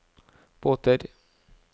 båter